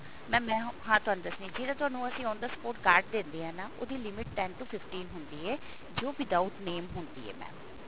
mam ਮੈਂ ਹਾਂ ਤੁਹਾਨੂੰ ਦੱਸਣੀ ਜਿਹਦਾ ਤੁਹਾਨੂੰ ਅਸੀਂ on the spot card ਦਿੰਦੇ ਹਾਂ ਉਹਦੀ limit ten to fifteen ਹੁੰਦੀ ਹੈ ਜੋ without name ਹੁੰਦੀ ਹੈ mam